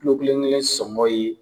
Kulu kelen kelen sɔngɔ ye